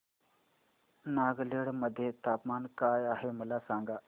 नागालँड मध्ये तापमान काय आहे मला सांगा